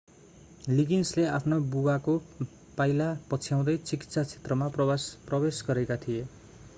लिगिन्सले आफ्ना बुबाको पाइला पछ्याउँदै चिकित्सा क्षेत्रमा प्रवेश गरेका थिए